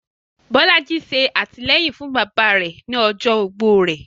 Bolaji ṣe atilẹyin fun baba rẹ ni ọjọ ogbó rẹ